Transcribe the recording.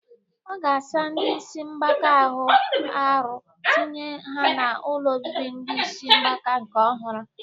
Ọ ga-asa ndị isi mgbaka ahụ arụ tinye ha n'ụlọ obibi ndi isi mgbaka nke ọhụrụ